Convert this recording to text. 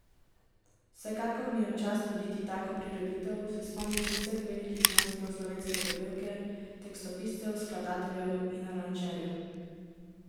Vsekakor mi je v čast voditi tako prireditev, se spomniti vseh velikih mojstrov slovenske popevke, tekstopiscev, skladateljev in aranžerjev.